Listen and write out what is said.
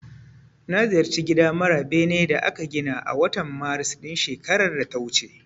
Na ziyarci gida mara benen da aka gina a watan Maris ɗin shekarar da ta wuce.